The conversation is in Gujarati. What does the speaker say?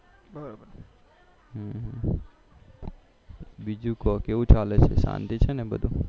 બીજું કો કેવું ચાલે છે શાંતિ છે ને બધું